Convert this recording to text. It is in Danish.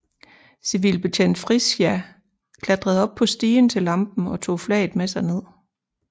Civilbetjent Friscia klatrede op på stigen til lampen og tog flaget med sig ned